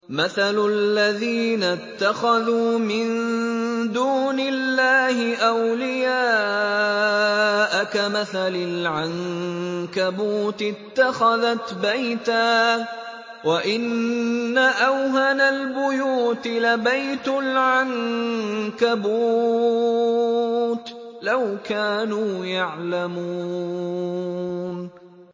مَثَلُ الَّذِينَ اتَّخَذُوا مِن دُونِ اللَّهِ أَوْلِيَاءَ كَمَثَلِ الْعَنكَبُوتِ اتَّخَذَتْ بَيْتًا ۖ وَإِنَّ أَوْهَنَ الْبُيُوتِ لَبَيْتُ الْعَنكَبُوتِ ۖ لَوْ كَانُوا يَعْلَمُونَ